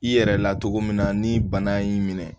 I yɛrɛ latogo min na ni bana y'i minɛ